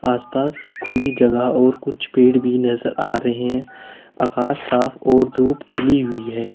आसपास खुली जगह और कुछ पेड़ भी नजर आ रहे हैं आकाश साफ और धूप खिली हुई है।